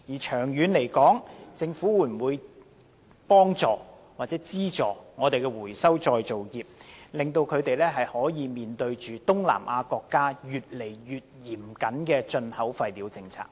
長遠而言，政府會否協助或資助回收再造業應對東南亞國家越趨嚴格的進口廢料政策？